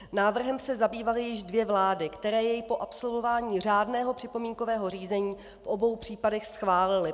Návrhem se zabývaly již dvě vlády, které jej po absolvování řádného připomínkového řízení v obou případech schválily.